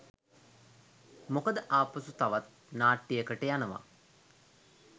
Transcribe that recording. මොකද ආපසු තවත් නාට්‍යයකට යනවා